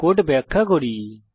code ব্যাখ্যা করি